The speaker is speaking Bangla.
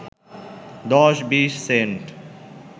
দশ-বিশ সেন্ট